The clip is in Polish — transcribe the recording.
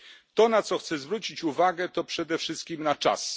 To, na co chcę zwrócić uwagę, to przede wszystkim na czas.